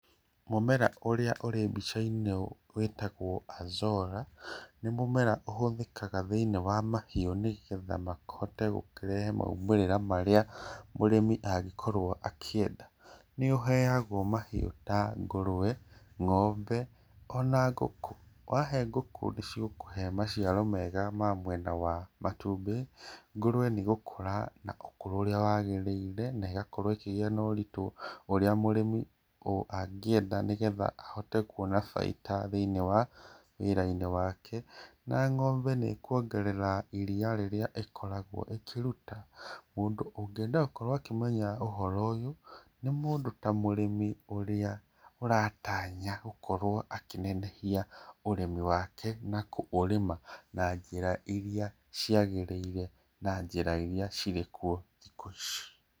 Mumera ũrĩa ũri mbica-inĩ wĩtagwo alxora. Nĩ mũmera ũhũthĩkaga thĩinĩ wa mahiũ nigetha mahote gũkĩrehe maumĩrĩra marĩa mũrĩmi angĩkorwo akĩenda. Nĩ ũheagwo mahiũ ta ngũruwe, ngombe, ona ngũkũ. Wahe ngũkũ nĩcigũkũhe maciaro mega ma mwena wa matumbĩ, ngũrũwe nĩ igũkũra na ũkũrũ ũrĩa wagĩrĩire, na ĩgakorwo ĩkigĩa na ũritũ ũrĩa mũrĩmi angĩenda nĩgetha ahote kuona baida thĩinĩ wa wĩra-inĩ wake; na ngombe nĩ ĩkuongerera iria rĩrĩa ĩkoragwo ĩkĩruta. Mũndu ũngĩenda gũkorwo akĩmenya ũhoro ũyũ nĩ mũndũ ta mũrĩmi ũrĩa ũratanya gũkorwo akĩnenehia ũrĩmi wake na kũũrĩma na njĩra iria ciagĩrĩire na njĩra iria cirĩ kuo thikũ ici.